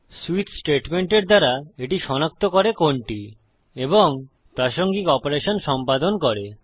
switch স্টেটমেন্টের দ্বারা এটি সনাক্ত করে কোনটি এবং প্রাসঙ্গিক অপারেশন সম্পাদন করে